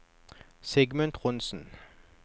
Sigmund Trondsen